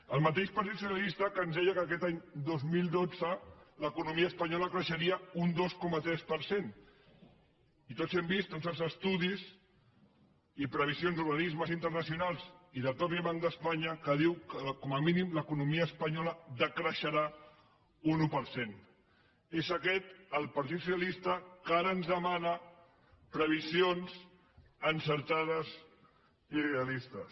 el mateix partit socialista que ens deia que aquest any dos mil dotze l’economia espanyola creixeria un dos coma tres per cent i tots hem vist tots els estudis i previsions d’organismes internacionals i del mateix banc d’espanya que diuen que com a mínim l’economia espanyola decreixerà un un per cent és aquest el partit socialista que ara ens demana previsions encertades i realistes